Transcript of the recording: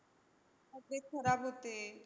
तब्येत खराब होते.